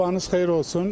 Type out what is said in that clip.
Sabahınız xeyir olsun.